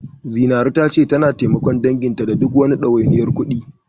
Zinaru tana cewa tana taimakon danginta da duk wani ɗawainiyar kuɗi.